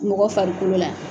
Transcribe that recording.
Mɔgɔ farikolo la